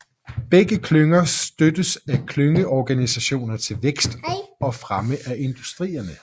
Begge klynger støttes af klyngeorganisationer til vækst og fremme af industrierne